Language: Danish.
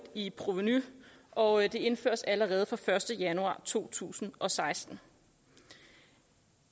i provenu og det indføres allerede fra den første januar to tusind og seksten